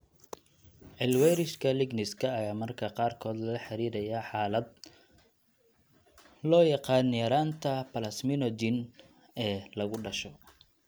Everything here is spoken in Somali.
Cil weyrishka ligniska ayaa mararka qaarkood lala xiriiriyaa xaalad loo yaqaan yaraanta plasminogen ee lagu dhasho.